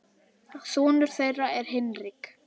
Sonur þeirra er Hinrik.